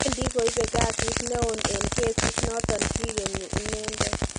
Wendi koibe kasit neoon en kesit noton kigenyi inendet